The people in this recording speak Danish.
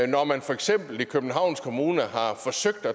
når man for eksempel i københavns kommune har forsøgt